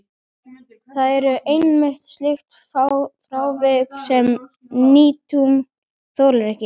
Það eru einmitt slík frávik sem nútíminn þolir ekki.